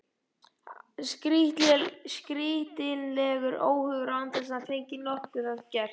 Skrýtilegur óhugur, án þess hann fengi nokkuð að gert.